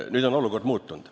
Nüüd on olukord muutunud.